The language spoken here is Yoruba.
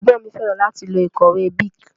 Ègbón mi féràn láti lo ìkòwé Bic